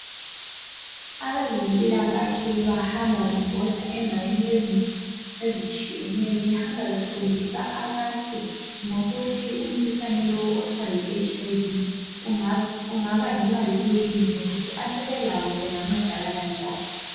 Abezempikahle bahamba bebhoda endaweni ezinengi ezitshiyeneyo behambe befundisa abantu ngokuthi umkhuhlane lo okuthiwa yiHiV ukuthi ungabangelwa yini lokukthi abasebelawo bengancedekala njani.